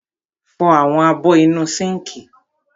Fọ àwọn abọ́ inú sínkì.